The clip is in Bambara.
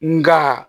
Nka